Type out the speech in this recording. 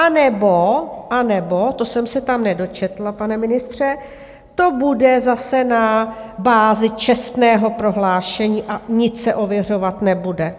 Anebo - anebo - to jsem se tam nedočetla, pane ministře - to bude zase na bázi čestného prohlášení a nic se ověřovat nebude?